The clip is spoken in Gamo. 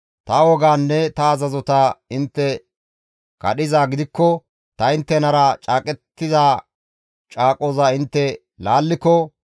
ta wogaanne ta azazota intte kadhizaa gidikko ta inttenara caaqettida caaqoza intte laalliko,